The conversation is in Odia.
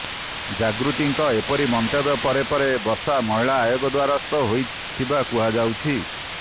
ଜାଗୃତିଙ୍କ ଏପରି ମନ୍ତବ୍ୟ ପରେ ପରେ ବର୍ଷା ମହିଳା ଆୟୋଗର ଦ୍ବାରସ୍ଥ ହୋଇଥିବା କୁହାଯାଉଛି